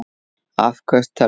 Afköst tölva